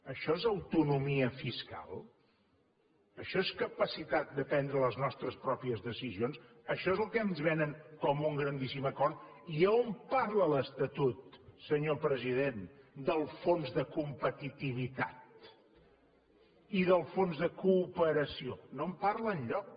això és autonomia fiscal això és capacitat de prendre les nostres pròpies decisions això és el que ens venen com un grandíssim acord i a on parla l’estatut senyor president del fons de competitivitat i del fons de cooperació no en parla enlloc